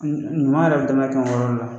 ɲuman yɛrɛ kɛyɔrɔ le la.